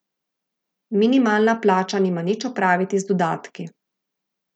Minimalna plača nima nič opraviti z dodatki.